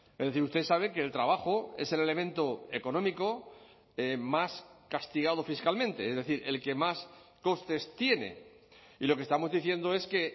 es decir usted sabe que el trabajo es el elemento económico más castigado fiscalmente es decir el que más costes tiene y lo que estamos diciendo es que